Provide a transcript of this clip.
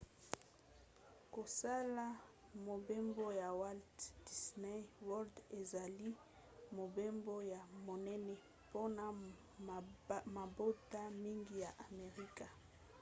kosala mobembo na walt disney world ezali mobembo ya monene mpona mabota mingi ya amerika